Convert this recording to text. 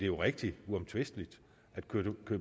jo rigtigt uomtvisteligt at køge